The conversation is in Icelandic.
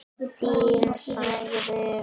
Fínn, sagði Finnur.